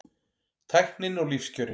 Tæknin og lífskjörin